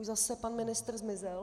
Už zase pan ministr zmizel?